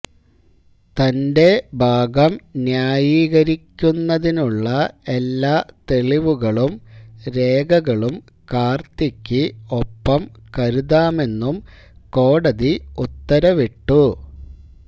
തന്റെ ഭാഗം ന്യായീകരിക്കുന്നതിനുള്ള എല്ലാ തെളിവുകളും രേഖകളും കാർത്തിക്ക് ഒപ്പം കരുതാമെന്നും കോടതി ഉത്തരവിട്ടു